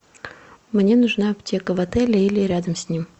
мне нужна аптека в отеле или рядом с ним